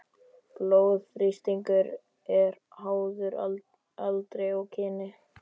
Blóðþrýstingur er háður aldri og kyni.